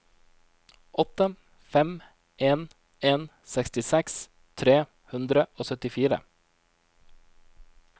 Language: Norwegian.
åtte fem en en sekstiseks tre hundre og syttifire